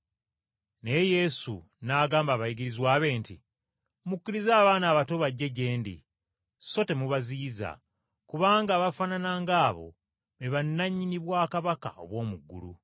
Naye Yesu n’agamba abayigirizwa be nti, “Mukkirize abaana abato bajje gye ndi so temubaziyiza, kubanga abafaanana ng’abo be bannannyini bwakabaka obw’omu ggulu.”